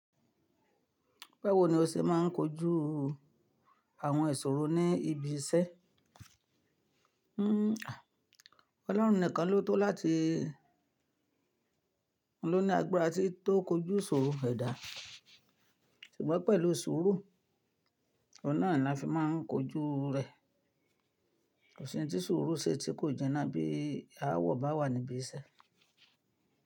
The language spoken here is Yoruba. Báwo ni o ṣe máa ń kojú àwọn ìṣòro ní ibi iṣẹ́? Ọlọ́run nìkan ló tó láti ló ní agbára tí tó kojú sọ̀rọ̀ ẹ̀dà. Ṣùgbọ́n pẹ̀lú sùúrù, oun náà ni won fi máa ń kojú rẹ̀. Ko si'n ti sùúrù se tí kò jina bí aawọ̀ bá wà níbí iṣẹ́.